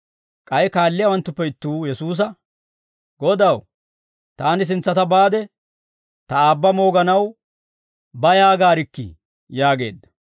K'ay kaalliyaawanttuppe ittuu Yesuusa, «Godaw, taani sintsata baade ta aabba mooganaw ba yaagaarikkii» yaageedda.